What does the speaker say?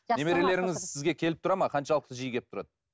немерелеріңіз сізге келіп тұрады ма қаншалықты жиі келіп тұрады